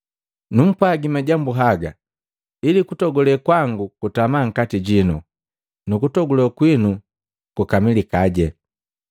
“Numpwagi majambu haga ili kutogule kwangu kutama nkati jino, nukutogule kwinu kukamilikaje.